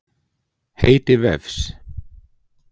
Heiti vefs.